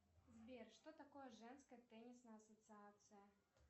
сбер что такое женская теннисная ассоциация